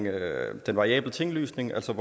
af den variable tinglysningsafgift